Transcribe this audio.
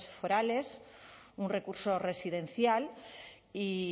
forales un recurso residencial y